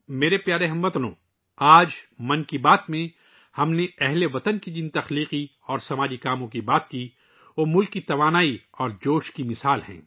میرے پیارے ہم وطنو، ہم نے آج' من کی بات ' میں اپنے ہم وطنوں کی ، جن تخلیقی اور سماجی کوششوں کی بات کی، وہ ہمارے ملک کی توانائی اور جوش و خروش کی مثالیں ہیں